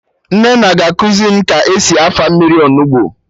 Nnenne ga-ekuzi m ka esi afa mmiri Onugbu